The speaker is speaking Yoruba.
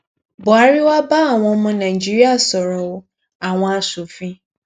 buhari wá bá àwọn ọmọ nàíjíríà sọrọ o àwọn aṣòfin